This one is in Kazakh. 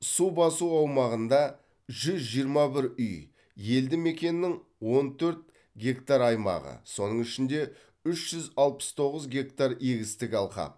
су басу аумағында жүз жиырма бір үй елді мекеннің он төрт гектар аймағы соның ішінде үш жүз алпыс тоғыз гектар егістік алқап